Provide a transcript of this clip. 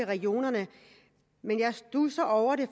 regionerne men jeg studser over det